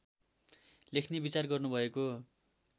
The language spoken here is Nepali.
लेख्ने विचार गर्नुभएको